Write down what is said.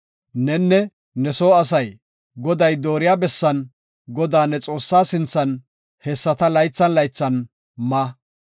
Nenne ne soo asay Goday dooriya bessan Godaa, ne Xoossaa sinthan hessata laythan laythan ma.